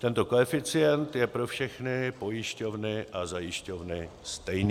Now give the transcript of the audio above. Tento koeficient je pro všechny pojišťovny a zajišťovny stejný.